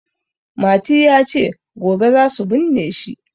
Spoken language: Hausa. Mati ya ce "gobe za su binne shi".